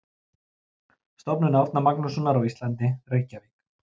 Stofnun Árna Magnússonar á Íslandi, Reykjavík.